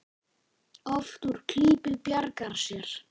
Oft úr klípu bjargar sér.